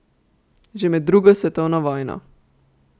Že med drugo svetovno vojno.